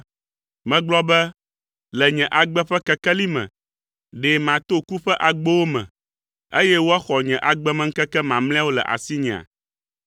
Megblɔ be, “Le nye agbe ƒe kekeli me, ɖe mato ku ƒe agbowo me, eye woaxɔ nye agbemeŋkeke mamlɛawo le asinyea?”